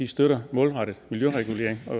støtter målrettet miljøregulering og